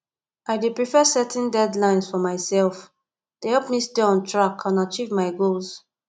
i dey prefer setting deadlines for myself to help me stay on track and achieve my goals